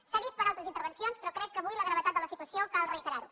s’ha dit per altres intervencions però crec que avui per la gravetat de la situació cal reiterar ho